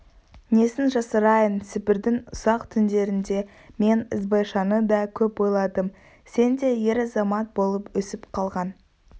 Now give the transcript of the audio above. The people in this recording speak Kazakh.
несін жасырайын сібірдің ұзақ түндерінде мен ізбайшаны да көп ойладым сен де ер-азамат болып өсіп қалған